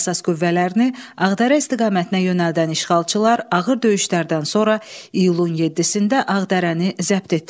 Əsas qüvvələrini Ağdərə istiqamətinə yönəldən işğalçılar ağır döyüşlərdən sonra iyulun 7-də Ağdərəni zəbt etdilər.